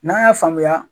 N'an y'a faamuya